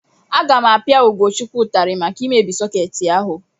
Aga m apia Ugochukwu ụtarị maka imebi sọkeetị ahu.